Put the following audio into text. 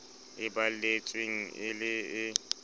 e balletsweng e le e